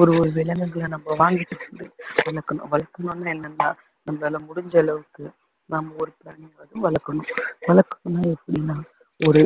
ஒரு ஒரு விலங்குகளை வாங்கிட்டு வந்து வளர்க்கணும் வளர்க்கணும்னா என்னன்னா நம்மளால முடிஞ்ச அளவுக்கு நாம ஒரு பிராணியாவது வளர்க்கணும் வளர்க்கணும்னா எப்படின்னா ஒரு